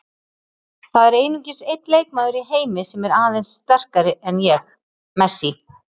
Það er einungis einn leikmaður í heimi sem er aðeins sterkari en ég- Messi.